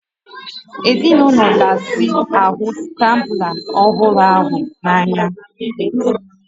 Ezinaụlọ gasị ga-ahụ skrambla ọhụrụ ahụ n'anya